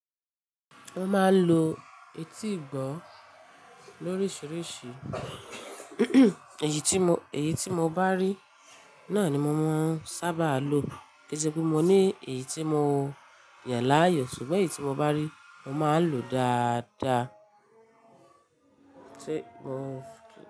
Mo máa ń lo eti ìgbọ́ lórísìíríṣìí, èyí tí mo, èyí tí mo bá rí náà ni mo mọ ń sábà lo. Kẹsepe mo ní èyí tí mo yàn láàyò ṣùgbọ́n èyí tí mo bá rí mo máa lòó dáadáa.